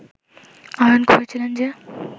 আহরণ করেছিলেন যে